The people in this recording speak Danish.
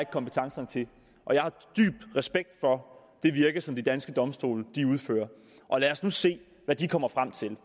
kompetencerne til jeg har dyb respekt for det virke som de danske domstole udfører lad os nu se hvad de kommer frem til